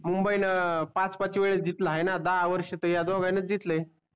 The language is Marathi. मुंबईन पाच पाच वेळेस जितला आहे णा दहा वर्ष तर हाय दोग्याणी जितले